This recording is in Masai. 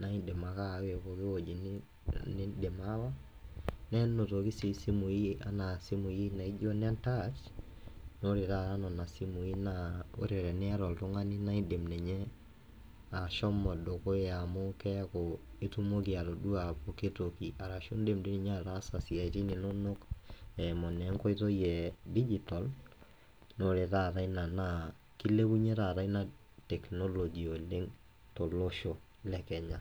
naa indim ake aawa eweji niindim aawa, nenotoki sii simuii anaa simui naijo ne ntaach, ore taata nena simuii naa ore tenieta oltungani naindim ninye ashomo dukuya amu keaku itumoki atoduaa pooki toki, ararshu iindim dei ninye ataasa siaitin inonok eimu naa enkoitoi ee dijito, naa ore taata inia naa keilepunye taata ina teknoloji oleng te losho le kenya